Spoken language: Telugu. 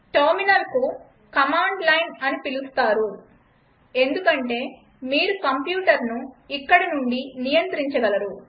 టెర్మినల్ను కమాండ్ లైన్ అని పిలుస్తారు ఎందుకంటే మీరు కంప్యూటర్ను ఇక్కడ నుండి నియంత్రించగలరు